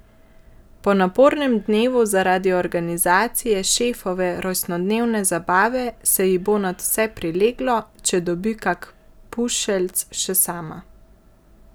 Po napornem dnevu zaradi organizacije šefove rojstnodnevne zabave se ji bo nadvse prileglo, če dobi kak pušeljc še sama.